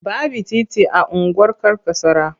Baby titi a unguwar Karkasara.